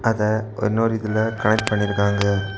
அத இன்னொரு இதுல கனெக்ட் பண்ணி இருக்காங்க.